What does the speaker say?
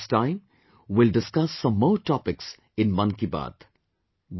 Next time, we will discuss some more topics in 'Mann Ki Baat'